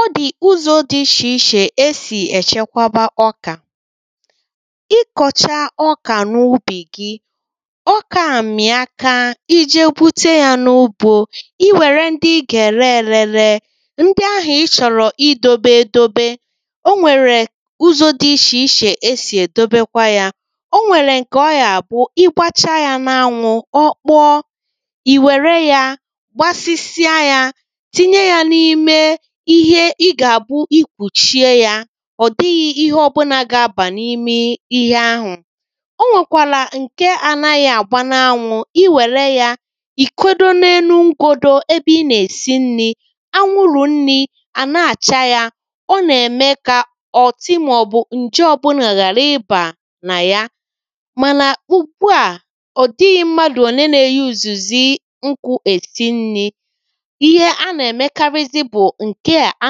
ọ dị̀ ụzọ̀ dì ichèichè e sì èchekwaba ọkà ị kọ̀chaa ọkà n’ubì gi ọkà a mị̀a kaa i je gwute ya n’ugbō gi i wère ndi i gà-ère erē rēē ndi àhụ ị chọ̀rọ̀ idōbē edobe o nwèrè ụzọ̀ dị ichèichè e sì èdobekwa ya o nwèlè ǹkè ọ gà-àbụ igbachaa n’anwụ̄ ọ kpọọ i wère ya gbasisia ya tinye ya n’ime ihe i gà-àbụ ikpùchìe ya ọ̀ dịghị̄ ihe ọbụlà gà-abà n’ime ihe ahụ̀ o nwèkwàlà ǹkè anàghị̀ àgba n’anwụ̄ i wèlè ya ìkudo n’elu ngōdō ebe ị nà-èsi nrī anwụrụ̀ nnī à na-àcha ya ọ nà-ème kà ọ̀tị màọbụ̀ ǹje ọbụlà ghàra ịbà nà ya mànà ùgbùa ọ̀dịghị̄ mmadù ole na-yuzizi nkụ è si ǹli. ihe a nà-èmekarizi bụ̀ ǹkè a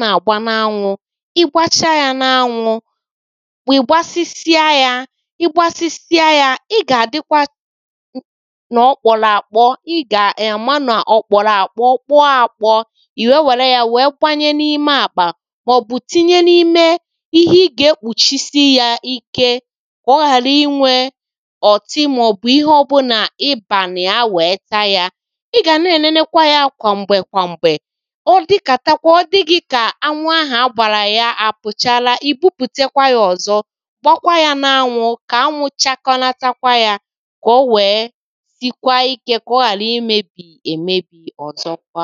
nà-àgba n’anwū ị gbachaa n’anwụ̄ ị gbasịsịa ya ị̀gbasịsịa ya ị gà-àdị́kwa n’ọkpọ̀rọ̀ àkpọ ị gà-àma nà ọ̀kp̀ọrọ̀ àkpọ kpọọ akpọ̄ ì wee wère ya kwanye n’ime àkpà màọbụ̀ tinye n’ime ihe ị gà-ekpùchisi ya ike kà ọ ghàra inwē ọ̀tị màọbụ̀ ihe ọbụlà ibà nà ya wè: ta ya ị gà nà-enenekwa ya kwàmgbè kwàmgbè ọ dịkatakwa ọ dị gị kà anwụ̄ ahụ̀ agbàrà ya àpụ̀chaala ìbupùtekwa ya ọ̀zọ gbọkwaa ya n’anwụ̄ kà anwụ̄ chakọnatakwa ya kà ó wèè síkwáá íkē kà ọ́ ghàrá ímēbì èmébì òzókwá